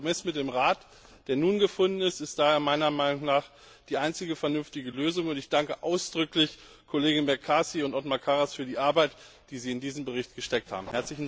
Der Kompromiss mit dem Rat, der nun gefunden ist, ist daher meiner Meinung nach die einzige vernünftige Lösung, und ich danke ausdrücklich den Kollegen McCarthy und Othmar Karas für die Arbeit, die sie in diesen Bericht gesteckt haben.